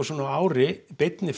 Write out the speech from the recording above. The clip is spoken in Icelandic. á ári